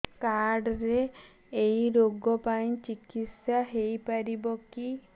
card ରେ ଏଇ ରୋଗ ପାଇଁ ଚିକିତ୍ସା ହେଇପାରିବ କି